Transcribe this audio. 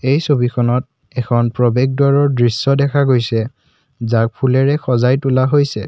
এই ছবিখনত এখন প্ৰৱেশ দুৱাৰৰ দৃশ্য দেখা গৈছে যাৰ ফুলেৰে সজাই তোলা হৈছে।